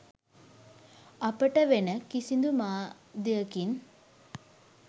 අපට වෙන කිසිදු මාධ්‍යකින්